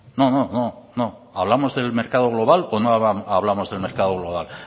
no no no hablamos del mercado global o no hablamos del mercado global